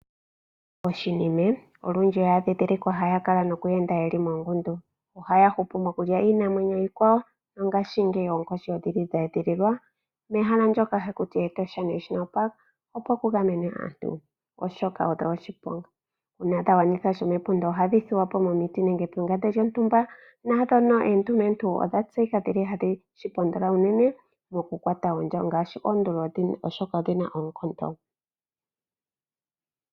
Ooshinime olundji oya dhindhilikwa haya kala noku enda moongundu. Ohaya hupu mokulya iinamwenyo iikwawo nongashingeyi oonkoshi odha edhililwa mehala ndyoka haku tiwa Etosha National park, opo ku gamenwe aantu, oshoka odho oshiponga. Uuna dha gwanitha shopepunda ohadhi thuwa po momiti nenge pengande lyontumba. Ndhoka oondumentu odha tseyika hadhi shi pondola unene mokukwata oondya, oshoka odhi na oonkondo.